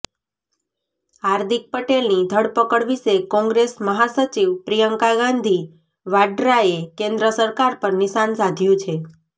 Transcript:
હાર્દિક પટેલની ધરપકડ વિશે કોંગ્રેસ મહાસચિવ પ્રિયંકા ગાંધી વાડ્રાએ કેન્દ્ર સરકાર પર નિશાન સાધ્યુ છે